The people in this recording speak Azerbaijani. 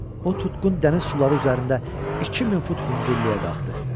O tutqun dəniz suları üzərində 2000 fut hündürlüyə qalxdı.